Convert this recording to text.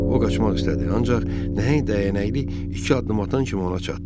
O qaçmaq istədi, ancaq nəhəng dəyənəkli iki addım atan kimi ona çatdı.